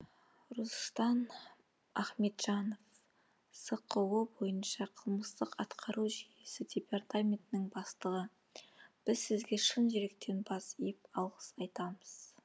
рустан ахметжанов сқо бойынша қылмыстық атқару жүйесі департаментінің бастығы біз сізге шын жүректен бас иіп алғыс айтамыз